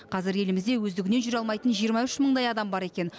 қазір елімізде өздігінен жүре алмайтын жиырма үш мыңдай адам бар екен